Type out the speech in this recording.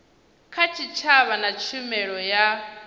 kha tshitshavha na tshumelo ya